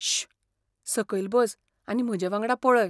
शू...! सकयल बस आनी म्हजेवांगडा पळय